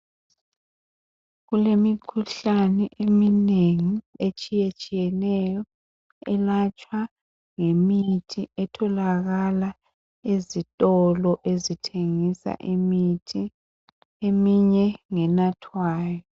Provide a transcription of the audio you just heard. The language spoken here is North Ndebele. Kulemikhuhlane eminengi etshiyetshiyeneyo elatshwa ngemithi etholakala ezitolo ezithengisa imithi. Eminye ngenathwayo.